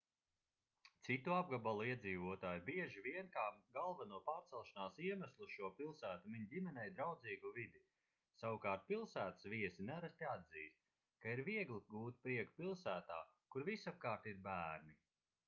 citu apgabalu iedzīvotāji bieži vien kā galveno pārcelšanās iemeslu uz šo pilsētu min ģimenei draudzīgu vidi savukārt pilsētas viesi nereti atzīst ka ir viegli gūt prieku pilsētā kur visapkārt ir bērni